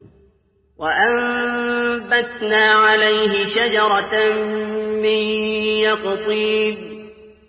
وَأَنبَتْنَا عَلَيْهِ شَجَرَةً مِّن يَقْطِينٍ